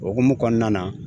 O hukumu kɔnɔna na